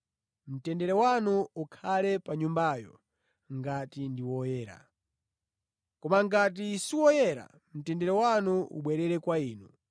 Mtendere wanu ukhale pa a mʼnyumbayo ngati ndi oyenera. Koma ngati siwoyenera, mtendere wanu ubwerere kwa inu.